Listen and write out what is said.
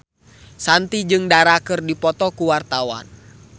Shanti jeung Dara keur dipoto ku wartawan